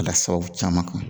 La sababu caman kan